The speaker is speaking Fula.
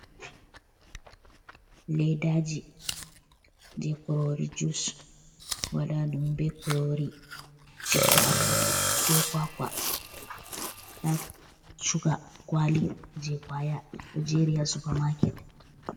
Ledaji je kurori jus waɗaɗum be kurori citta afo be kwakwa, da shuga kwali je kwaya ɗo jeri ha supa maket.